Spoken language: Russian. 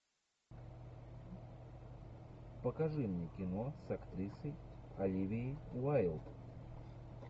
покажи мне кино с актрисой оливией уайлд